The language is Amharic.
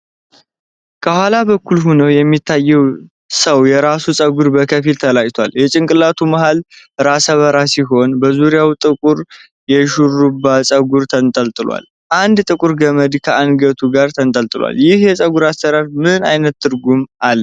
ከኋላ በኩል ሆነው የሚታየው ሰው የራስ ፀጉር በከፊል ተላጭቷል። የጭንቅላቱ መሃል ራሰ በራ ሲሆን፣ በዙሪያው ጥቁር የሽሩባ ፀጉር ተንጠልጥሏል። አንድ ጥቁር ገመድ ከአንገቱ ጋር ተንጠልጥሏል። ይህ የፀጉር አሠራር ምን ዓይነት ትርጉም አለው?